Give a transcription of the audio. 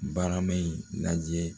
Barama in lajɛ